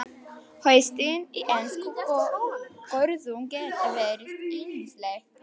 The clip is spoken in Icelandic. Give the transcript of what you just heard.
Haustin í enskum görðum geta verið yndisleg.